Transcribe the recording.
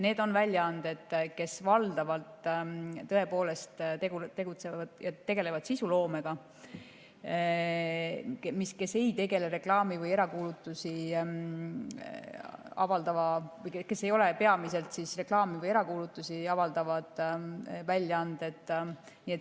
Need on väljaanded, kes tõepoolest tegelevad valdavalt sisuloomega ja kes ei ole peamiselt reklaami või erakuulutusi avaldavad väljaanded.